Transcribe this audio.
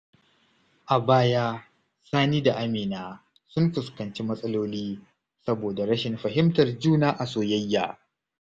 A baya, Sani da Amina sun fuskanci matsaloli saboda rashin fahimtar juna a soyayya.